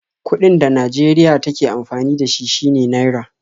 Kuɗin da Najeriya take amfani da shi shine Naira